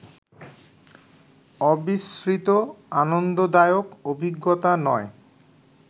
অবিশ্রিত আনন্দদায়ক অভিজ্ঞতা নয়